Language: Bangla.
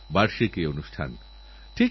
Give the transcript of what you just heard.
বারবার আমাদের কানে প্রতিধ্বনিত হবে রিও